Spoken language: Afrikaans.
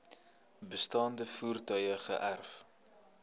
bestaande voertuie geërf